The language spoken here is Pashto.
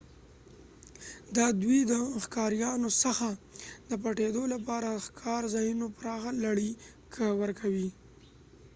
دا دوی ته د ښکاريانو څخه د پټيدو لپاره د ښکار ځایونو پراخه لړۍ ورکوي